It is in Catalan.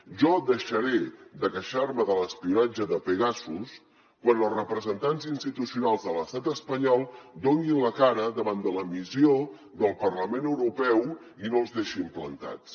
jo deixaré de queixar me de l’espionatge de pegasus quan els representants institucionals de l’estat espanyol donin la cara davant de la missió del parlament europeu i no els deixin plantats